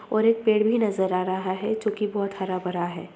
और एक पेड़ भी नजर आ रहा है जो की बहुत हरा-भरा है।